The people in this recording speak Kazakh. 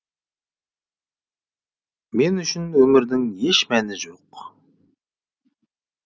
мен үшін өмірдің еш мәні жоқ